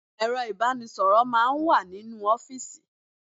Ẹ̀rọ ìbánisọ̀rọ̀ máà ń wà nínú ọ́fìsì.